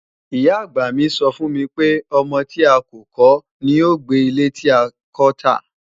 Ìyá-àgbà mi sọ fún mi pé, "ọmọ tí a kò kọ́ ní yóò gbé ilé tí a kọ́ tà"